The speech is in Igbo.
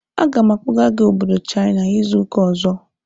Aga m akpọga gị obodo China izu ụka ọzọ!